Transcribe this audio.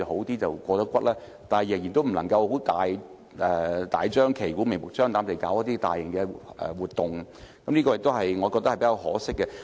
但我們仍然不能大張旗鼓、明目張膽在大球場舉行大型活動，我覺得是比較可惜的。